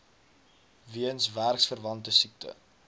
weens werksverwante siekte